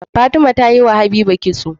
Fatima yi wa habiba kitso